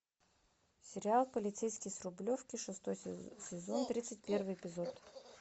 сериал полицейский с рублевки шестой сезон тридцать первый эпизод